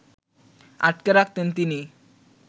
আটকে রাখতেন তিনি